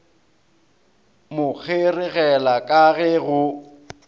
mo kgeregela ka ge go